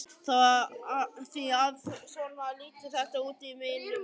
Því að svona lítur þetta út í mínum augum.